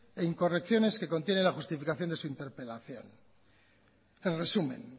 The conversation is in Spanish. e incorrecciones que contiene la justificación de su interpelación en resumen